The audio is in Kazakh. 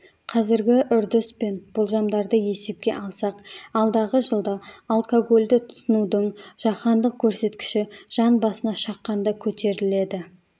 қазіргі үрдіс пен болжамдарды есепке алсақ алдағы жылда алкогольді тұтынудың жаһандық көрсеткіші жан басына шаққанда көтеріледі